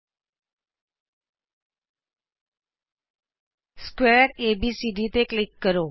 ਸਮਕੋਣ ਚਤੁਰਭੁਜ ਏਬੀਸੀਡੀ ਤੇ ਕਲਿਕ ਕਰੋ